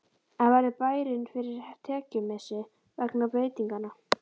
En verður bærinn fyrir tekjumissi vegna breytinganna?